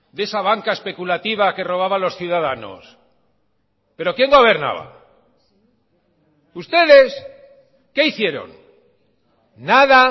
de esa banca especulativa que robaba a los ciudadanos pero quién gobernaba ustedes qué hicieron nada